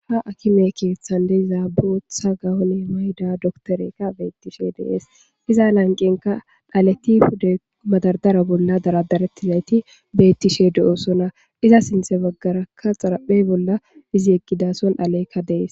ha akime keeththan de'izaa bootha gawone mayda doktorekka beettishe dees iza lanqenka dhaleti pude madardara bolla daradarettizayti beettishe de7oosona iza sinthe baggarakka xaraphey bolla izi egidason haleykka dees